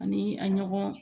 Ani a ɲɔgɔn